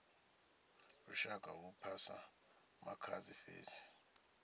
lushaka hu phasa makhadzi fhedzi